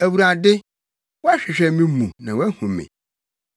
Awurade, woahwehwɛ me mu na woahu me.